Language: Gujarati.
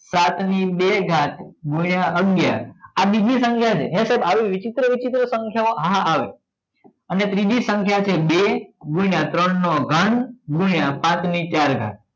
સાત ની બે ઘાત ગુણ્યા અગિયાર આ બીજી સંખ્યા છે હે સાહેબ આવે વિચિત્ર વિચિત્ર સંખ્યા હા આવે અને ત્રીજી સંખ્યા છે બે ગુણ્યા ત્રણ નો ઘાત ગુણ્યા પાચ ની ચાર ઘાત